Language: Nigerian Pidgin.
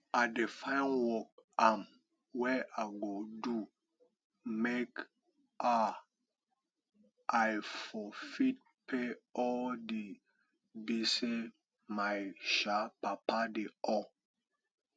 i dey find work um wey i go do make um i for fit pay all di gbese my um papa dey owe